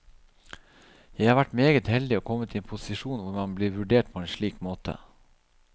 Jeg har vært meget heldig og kommet i en posisjon hvor man blir vurdert på en slik måte.